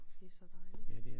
Det så dejligt